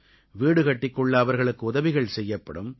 வீடு கட்டிக் கொள்ள அவர்களுக்கு உதவிகள் செய்யப்படும்